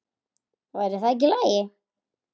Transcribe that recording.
Væri það ekki í lagi?